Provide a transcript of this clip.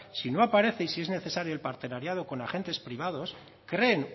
si no aparece y si es necesario es partenariado con agentes privados creen